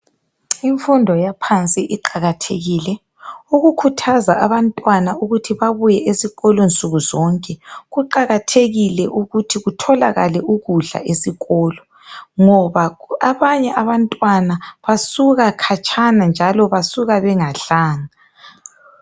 Imfundo yaphansi iqakathekile, ukukhuthaza abantwana ukuthi babuye nsukuzonke . Kuqakathekile ukuthi kutholakale ukudla esikolo ,ngoba abanye abantwana basuka khatshana njalo basuka bengadlanga.